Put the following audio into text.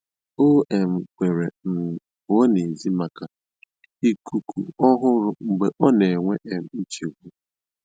Ó um kwèrè um pụ́ọ́ n'èzí màkà íkúkú ọ́hụ̀rụ̀ mgbe ọ́ nà-énwé um nchégbù.